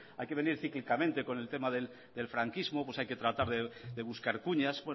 hay que venir cíclicamente con el tema del franquismo pues hay que tratar de buscar cuñas